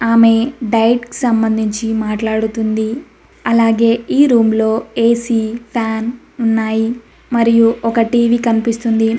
ఆమె డైట్ కి సంబంధించి మాట్లాడుతుంది అలాగే ఈ రూంలో ఏ_సీ ఫ్యాన్ ఉన్నాయి మరియు ఒక టీ_వీ కనిపిస్తుంది.